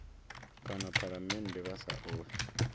kana phalamennde vha sa ofhi